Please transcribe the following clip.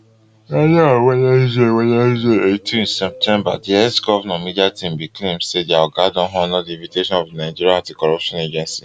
earlier on wednesday wednesday eighteen september di exgovnor media team bin claim say dia oga don honour di invitation of di nigeria anticorruption agency